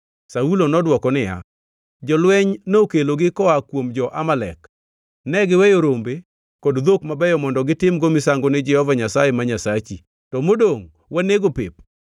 Saulo nodwoko niya, “Jolweny nokelogi koa kuom jo-Amalek; negiweyo rombe kod dhok mabeyo mondo gitimgo misango ni Jehova Nyasaye ma Nyasachi, to modongʼ wanego pep.”